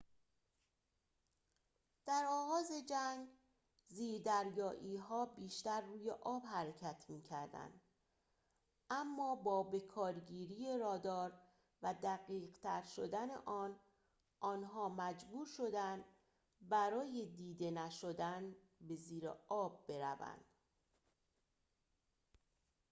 در آغاز جنگ زیردریایی‌ها بیشتر روی آب دریا حرکت می‌کردند اما با بکارگیری رادار و دقیق‌تر شدن آن آنها محبور شدند برای دیده نشدن به زیر آب بروند